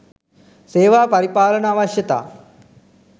"සේවා පරිපාලන අවශ්‍යතා"